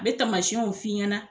n me tamasɛnw f'i ɲɛna